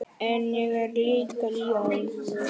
En ég er líka ljón.